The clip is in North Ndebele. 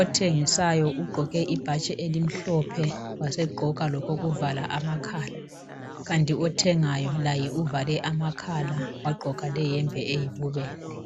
othengisayo ugqoke ibhatshi elimhlophe wasegqoka lokokuvala amakhala kanti othengayo ovale amakhala wagqoka leyembe eyibubende.